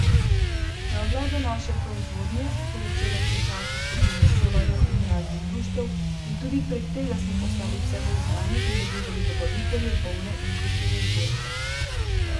Na oglede naše prozvodnje so začele prihajati skupine šolarjev in raznih društev in tudi prek tega smo postajali vse bolj znani in dobivali dobavitelje volne in kupce za izdelke.